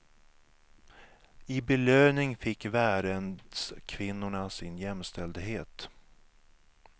I belöning fick värendskvinnorna sin jämställdhet.